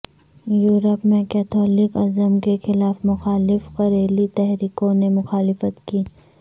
Europe میں Catholicism کے خلاف مخالف کلریلی تحریکوں نے مخالفت کی